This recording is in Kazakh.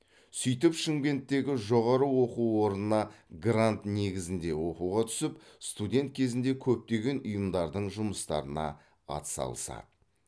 сөйтіп шымкенттегі жоғару оқу орнына грант негізінде оқуға түсіп студет кезінде көптеген ұйымдардың жұмыстарына атсалысады